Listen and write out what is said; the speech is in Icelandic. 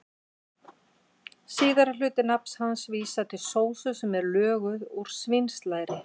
Síðari hluti nafns hans vísar til sósu sem löguð er úr svínslæri.